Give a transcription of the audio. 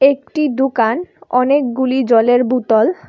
একটি দুকান অনেকগুলি জলের বুতল --